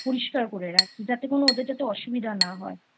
পরিষ্কার করে রাখি যাতে ওদের কোনো অসুবিধা না হয় I